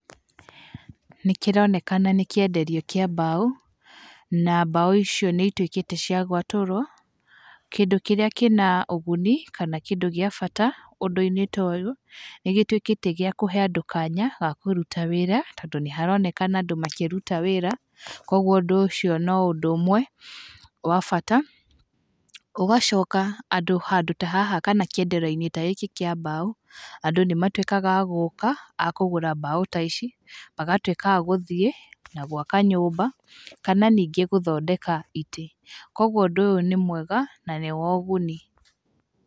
Nĩ kĩronekana nĩ kĩenderio kĩa mbaũ, na mbaũ icio nĩ ituĩkĩte cia gwatũrwo, kĩndũ kĩrĩa kĩna ũguni kana kĩndũ gĩa bata ũndũ-inĩ ta ũyũ, nĩ gĩtuĩkĩte gĩa kũhe andũ kanya ga kũruta wĩra, tondũ nĩ haronekana andũ makĩruta wĩra, koguo ũndũ ũcio no ũndũ ũmwe wa bata, ũgacoka, andũ handũ ta haha kana kĩenderio-inĩ ta gĩkĩ kĩa mbaũ, andũ nĩmatuĩkaga a gũka a kũgũra mbaũ ta ici, magatuĩka a gũthiĩ na gwaka nyũmba, kana ningĩ gũthondeka itĩ, koguo ũndũ ũyũ nĩ mwega na nĩ wa ũguni.